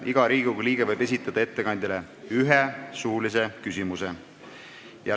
Iga Riigikogu liige võib ettekandjale esitada ühe suulise küsimuse.